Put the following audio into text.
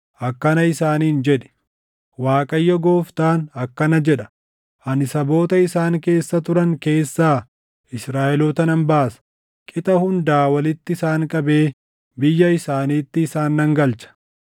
akkana isaaniin jedhi; ‘ Waaqayyo Gooftaan akkana jedha: Ani saboota isaan keessa turan keessaa Israaʼeloota nan baasa. Qixa hundaa walitti isaan qabee biyya isaaniitti isaan nan galcha.